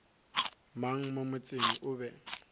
mang mo motseng o be